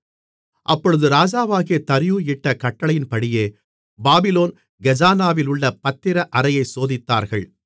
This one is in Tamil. அப்பொழுது ராஜாவாகிய தரியு இட்ட கட்டளையின்படியே பாபிலோன் கஜானாவிலுள்ள பத்திர அறையை சோதித்தார்கள்